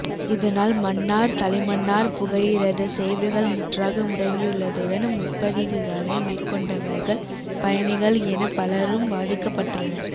இதனால் மன்னார் தலைமன்னார் புகையிரத சேவைகள் முற்றாக முடங்கியுள்ளதுடன் முற்பதிவுகளை மேற்கொண்டவர்கள் பயணிகள் என பலரும் பாதிக்கப்பட்டுள்ளனர்